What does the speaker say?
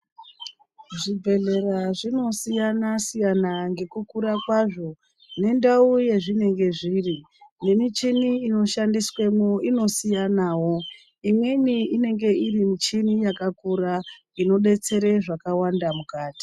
Zvibhedhlera zvinosiyana siyana, ngekukura kwazo nendawu yazvinenge zviri. Nemichini inoshandiswe mo, inosiyanawo. Imweni inenge irimichini yakakura inodetsere zvakawanda mukati.